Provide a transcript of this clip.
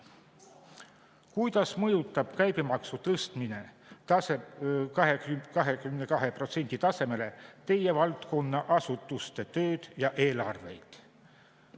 Kuidas mõjutab käibemaksu tõstmine 22% tasemele teie valdkonna asutuste tööd ja eelarveid?